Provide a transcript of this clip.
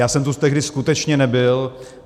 Já jsem tu tehdy skutečně nebyl.